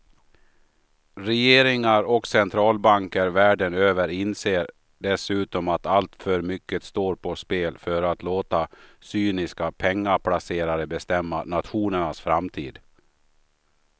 Regeringar och centralbanker världen över inser dessutom att alltför mycket står på spel för att låta cyniska pengaplacerare bestämma nationernas framtid.